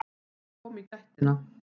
Ég kom í gættina.